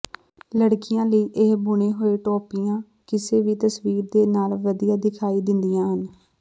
ਲੜਕੀਆਂ ਲਈ ਇਹ ਬੁਣੇ ਹੋਏ ਟੋਪੀਆਂ ਕਿਸੇ ਵੀ ਤਸਵੀਰ ਦੇ ਨਾਲ ਵਧੀਆ ਦਿਖਾਈ ਦਿੰਦੀਆਂ ਹਨ